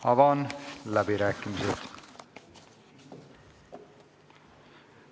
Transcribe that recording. Avan läbirääkimised.